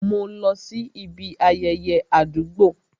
Mo lọ sí ibi ayẹyẹ àdúgbò